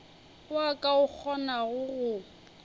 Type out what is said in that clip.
wa ka o kgonago go